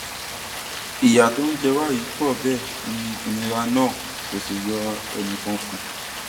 ìyà tó ń jẹ wá yìí pọ bẹẹ ni ìnira náà kò sì yọ ẹnì kan kù